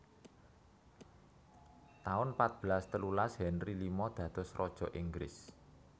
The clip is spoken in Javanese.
taun patbelas telulas Henry lima dados Raja Inggris